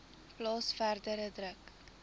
plaas verdere druk